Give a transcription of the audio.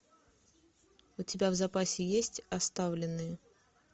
у тебя в запасе есть оставленные